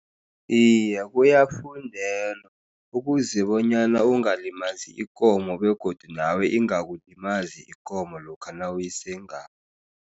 Iye, kuyafundelwa. Ukuze bonyana ungalimazi ikomo, begodu nawe ingakulimazi ikomo lokha nawuyisengako.